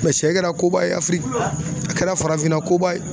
siyɛ kɛra koba ye a kɛra farafinna koba ye.